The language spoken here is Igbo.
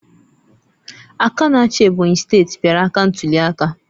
Aka na-achị Ebonyi steeti kpara aka ntuliaka